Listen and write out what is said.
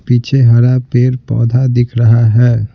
पीछे हरा पेर पौधा दिख रहा है।